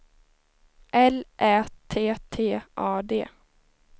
L Ä T T A D